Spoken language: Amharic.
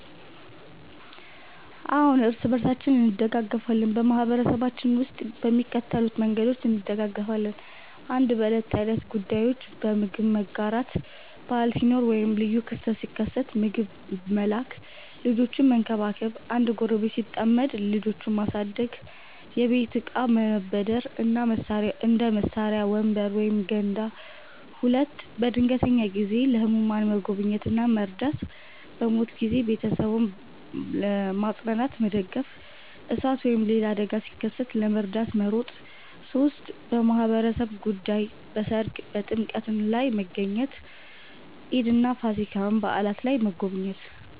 አዎን፣ እርስ በርሳችን እንደጋገፋለን በማህበረሰባችን ውስጥ በሚከተሉት መንገዶች እንደጋገፋለን፦ 1. በዕለት ተዕለት ጉዳዮች · በምግብ መጋራት – በዓል ሲኖር ወይም ልዩ ክስተት ሲከሰት ምግብ መላክ · ልጆችን መንከባከብ – አንድ ጎረቤት ሲጠመድ ልጆቹን ማሳደግ · የቤት እቃ መበደር – እንደ መሳሪያ፣ ወንበር ወይም ገንዳ 2. በድንገተኛ ጊዜ · ለህሙማን መጎብኘት እና መርዳት · በሞት ጊዜ ቤተሰቡን ማጽናናትና መደገፍ · እሳት ወይም ሌላ አደጋ ሲከሰት ለመርዳት መሮጥ 3. በማህበራዊ ጉዳዮች · በሠርግ እና በጥምቀት ላይ መገኘት · ኢድ እና ፋሲካ በዓላት ላይ መጎብኘት